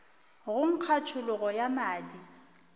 go nkga tšhologo ya madi